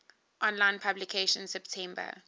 online publication september